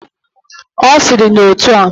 Osiri na otua: